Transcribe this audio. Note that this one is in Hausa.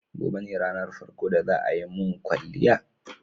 Gobe ne ranar farko da za a yi mun kwalliya.